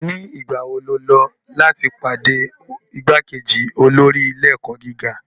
Nigbawo ni o lọ lati pade igbakeji olori ile-ẹkọ giga?